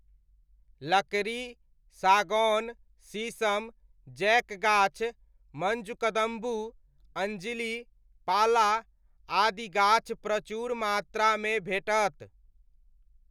लकड़ी, सागौन, शीशम, जैक गाछ, मञ्जुकदम्बू, अँजिली, पाला आदि गाछ प्रचुर मात्रामे भेटत।